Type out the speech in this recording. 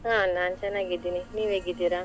ಹಾ ನಾನ್ ಚೆನ್ನಾಗಿದ್ದೇನೆ, ನೀವ್ ಹೇಗಿದ್ದೀರಾ?